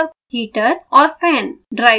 microcontroller heater और fan